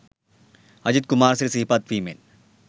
අජිත් කුමාරසිරි සිහිපත් වීමෙන්.